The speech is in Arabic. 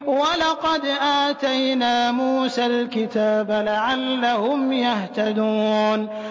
وَلَقَدْ آتَيْنَا مُوسَى الْكِتَابَ لَعَلَّهُمْ يَهْتَدُونَ